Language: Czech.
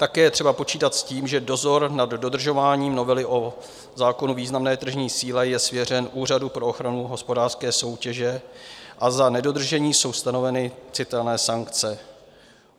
Také je třeba počítat s tím, že dozor nad dodržováním novely zákona o významné tržní síle je svěřen Úřadu pro ochranu hospodářské soutěže a za nedodržení jsou stanoveny citelné sankce.